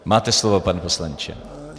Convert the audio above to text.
Máte slovo, pane poslanče.